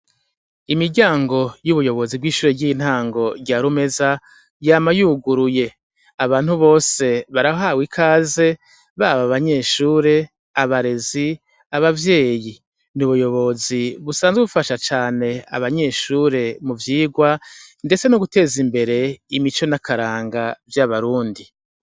Imiryango yubuyobozi bw'ishure ryintango rya Rumeza yama yuguruye, abantu bose barahawe ikaze baba abanyeshure, abarezi, abavyeyi ni ubuyobozi busanzwe bufasha cane abanyeshure mu vyigwa ndetse no guteza imbere imico n'akaranga vy'abarundi.